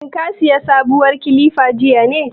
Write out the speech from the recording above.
Shin ka manta ka saya kilifa jiya ne?